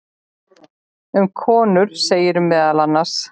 Um konur segir meðal annars